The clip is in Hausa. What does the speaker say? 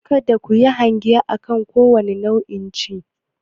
Kada ku yi hange akan kowane ounce.